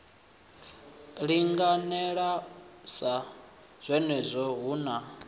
linganela sa zwenezwo hu na